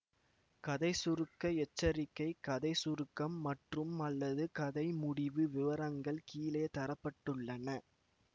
கதை சுருக்க எச்சரிக்கை கதை சுருக்கம் மற்றும்அல்லது கதை முடிவு விவரங்கள் கீழே தர பட்டுள்ளன